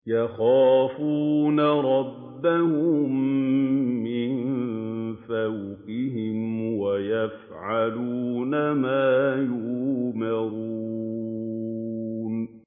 يَخَافُونَ رَبَّهُم مِّن فَوْقِهِمْ وَيَفْعَلُونَ مَا يُؤْمَرُونَ ۩